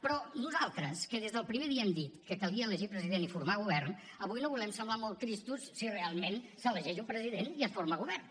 però nosaltres que des del primer dia hem dit que calia elegir president i formar govern avui no volem semblar molt tristos si realment s’elegeix un president i es forma govern